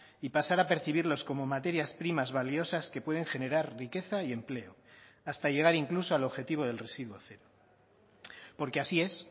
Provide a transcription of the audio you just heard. y pasar a percibirlos como materias primas valiosas que pueden generar riqueza y empleo hasta llegar incluso al objetivo del residuo cero porque así es